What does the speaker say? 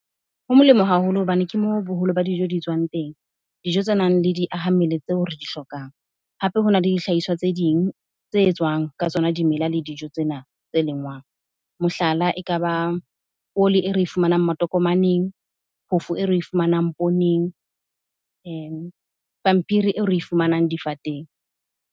Ho molemo haholo hobane ke moo boholo ba dijo di tswang teng. Dijo tsenang le di aha mmele tseo re di hlokang. Hape hona le dihlahiswa tse ding tse e tswang ka tsona dimela le dijo tsena tse lengwang. Mohlala, ekaba oli e re fumanang matokomaneng, phofo e re e fumanang pooneng, pampiri e re e fumanang difateng.